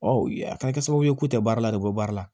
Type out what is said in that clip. a kɛra kɛ sababu ye k'u tɛ baara la debɔ baara la